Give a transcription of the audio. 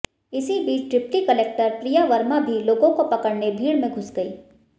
इस बीच deputy collector Priya Verma भी लोगों को पकड़ने भीड़ में घुस गईं